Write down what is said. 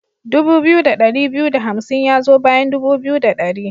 Dubu biyu da ɗari biyu da hamsin ya zo bayan dubu biyu da ɗari.